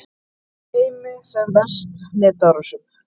Teymi sem verst netárásum